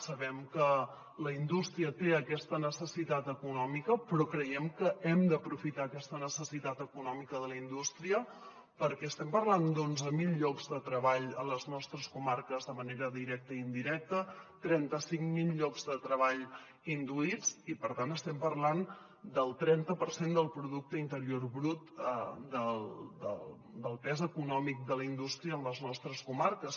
sabem que la indústria té aquesta necessitat econòmica però creiem que hem d’aprofitar aquesta necessitat econòmica de la indústria perquè estem parlant d’onze mil llocs de treball a les nostres comarques de manera directa i indirecta trenta cinc mil llocs de treball induïts i per tant estem parlant del trenta per cent del producte interior brut del pes econòmic de la indústria en les nostres comarques